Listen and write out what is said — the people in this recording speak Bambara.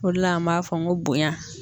O de la an b'a fɔ ko bonya.